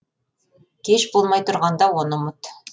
кеш болмай тұрғанда оны ұмыт